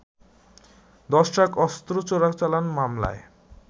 দশ ট্রাক অস্ত্র চোরাচালান মামলায়